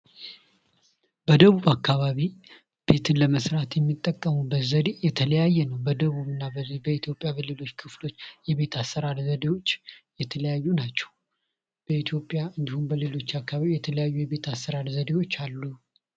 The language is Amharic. ቤት የፈጠራና የህልሞች መነሻ በመሆን ለእድገትና ለብልጽግና መሰረት ይጥላል፤ መኖሪያ ቤት ግን በቀላሉ አንድ ሰው ወይም ቤተሰብ የሚኖርበትን ቦታ ያመላክታል።